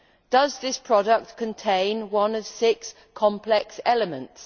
Does this product contain one of six complex elements?